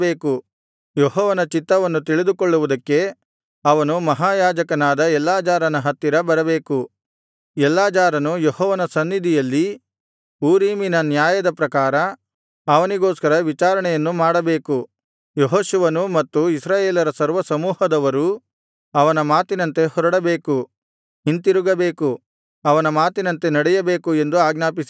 ಯೆಹೋವನ ಚಿತ್ತವನ್ನು ತಿಳಿದುಕೊಳ್ಳುವುದಕ್ಕೆ ಅವನು ಮಹಾಯಾಜಕನಾದ ಎಲ್ಲಾಜಾರನ ಹತ್ತಿರ ಬರಬೇಕು ಎಲ್ಲಾಜಾರನು ಯೆಹೋವನ ಸನ್ನಿಧಿಯಲ್ಲಿ ಊರೀಮಿನ ನ್ಯಾಯದ ಪ್ರಕಾರ ಅವನಿಗೋಸ್ಕರ ವಿಚಾರಣೆಯನ್ನು ಮಾಡಬೇಕು ಯೆಹೋಶುವನೂ ಮತ್ತು ಇಸ್ರಾಯೇಲರ ಸರ್ವಸಮೂಹದವರೂ ಅವನ ಮಾತಿನಂತೆ ಹೊರಡಬೇಕು ಹಿಂತಿರುಗಬೇಕು ಅವನ ಮಾತಿನಂತೆ ನಡೆಯಬೇಕು ಎಂದು ಆಜ್ಞಾಪಿಸಿದನು